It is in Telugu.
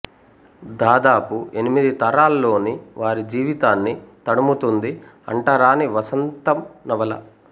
దాదాపు ఎనిమిది తరాల్లోని వారి జీవితాన్ని తడుముతుంది అంటరాని వసంతం నవల